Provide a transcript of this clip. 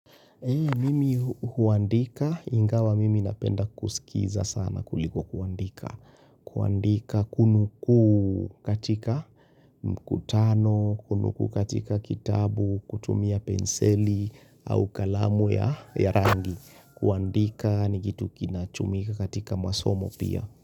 Mimi huandika, ingawa mimi napenda kuskiza sana kuliko kuandika. Kuandika kunukuu katika mkutano, kunukuu katika kitabu, kutumia penseli au kalamu ya rangi. Kuandika ni kitu kinachumika katika masomo pia.